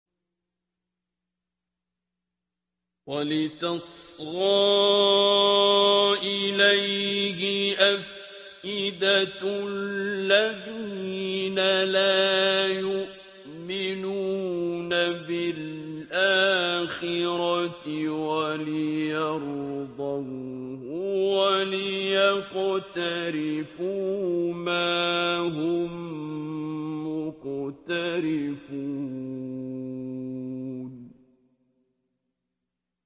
وَلِتَصْغَىٰ إِلَيْهِ أَفْئِدَةُ الَّذِينَ لَا يُؤْمِنُونَ بِالْآخِرَةِ وَلِيَرْضَوْهُ وَلِيَقْتَرِفُوا مَا هُم مُّقْتَرِفُونَ